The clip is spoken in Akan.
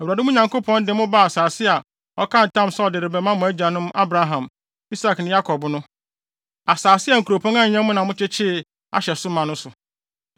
Awurade mo Nyankopɔn de mo ba asase a ɔkaa ntam sɛ ɔde bɛma mo agyanom Abraham, Isak ne Yakob no, asase a nkuropɔn a ɛnyɛ mo na mokyekyeree ahyɛ so ma no so,